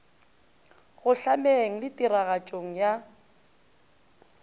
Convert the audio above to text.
go hlameng le tiragatšong ya